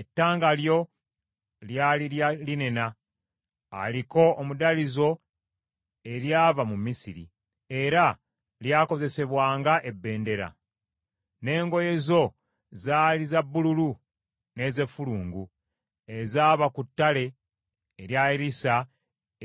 Ettanga lyo lyali lya linena aliko omudalizo eryava mu Misiri, era lyakozesebwanga ebendera; n’engoye zo zaali za bbululu n’ez’effulungu ezaaba ku ttale erya Erisa